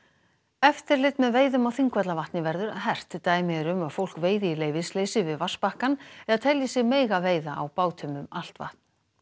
eftirlit með veiðum á Þingvallavatni verður hert dæmi eru um að fólk veiði í leyfisleysi við vatnsbakkann eða telji sig mega veiða á bátum um allt vatn